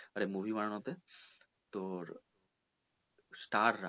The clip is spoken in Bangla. মানে movie বানানো তে তোর star রা